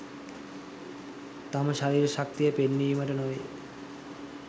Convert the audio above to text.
තම ශරීර ශක්තිය පෙන්වීමට නොවේ.